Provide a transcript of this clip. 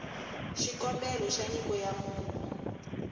xikombelo xa nyiko ya munhu